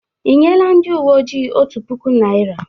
Ị nyela ndị uwe ojii otu puku naira?